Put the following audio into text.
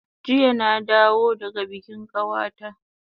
Jiya na dawo daga bikin kawata